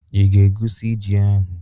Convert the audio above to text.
Ị ga-egwusi ji ahu?